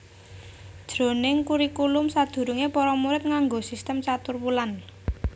Jroning kurikulum sadurungé para murid nganggo sistem caturwulan